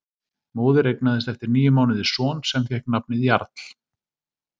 Móðir eignaðist eftir níu mánuði son sem fékk nafnið Jarl.